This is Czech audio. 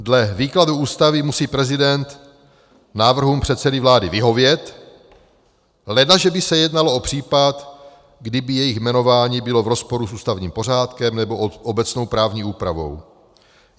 Dle výkladu Ústavy musí prezident návrhům předsedy vlády vyhovět, ledaže by se jednalo o případ, kdy by jejich jmenování bylo v rozporu s ústavním pořádkem nebo obecnou právní úpravou.